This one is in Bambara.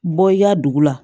Bɔ i ka dugu la